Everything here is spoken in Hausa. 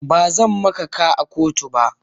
Ba zan maka ka a kotu ba.